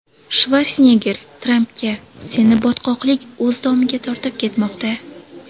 Shvarsenegger Trampga: Seni botqoqlik o‘z domiga tortib ketmoqda.